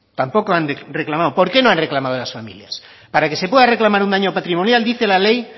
tampoco han reclamado por qué no han reclamado las familias para que se pueda reclamar un daño patrimonial dice la ley